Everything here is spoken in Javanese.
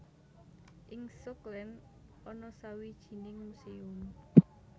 Ing Schokland ana sawijining muséum